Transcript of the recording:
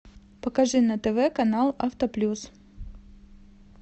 покажи на тв канал авто плюс